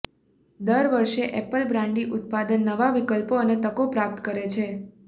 દર વર્ષે apple brandy ઉત્પાદન નવા વિકલ્પો અને તકો પ્રાપ્ત કરે છે